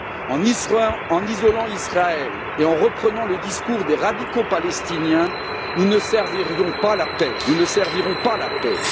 En isolant Israël et en reprenant le discours des radicaux palestiniens, nous ne servirons pas la paix.